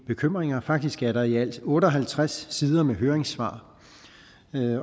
bekymringer faktisk er der i alt otte og halvtreds sider med høringssvar